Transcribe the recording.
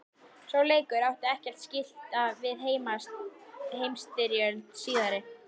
Sá leikur átti ekkert skylt við heimsstyrjöldina síðari.